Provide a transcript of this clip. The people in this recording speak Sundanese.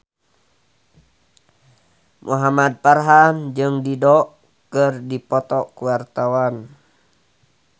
Muhamad Farhan jeung Dido keur dipoto ku wartawan